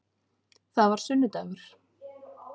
Það var sunnudagur.